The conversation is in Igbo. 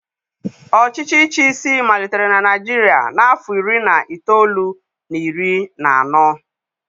Ọchịchị ichi isi malitere na Naịjirịa n'afọ iri na itoolu na iri na anọ.